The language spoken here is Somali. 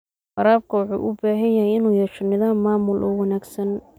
Waraabka wuxuu u baahan yahay inuu yeesho nidaam maamul oo wanaagsan.